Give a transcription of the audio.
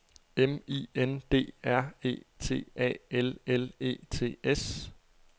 M I N D R E T A L L E T S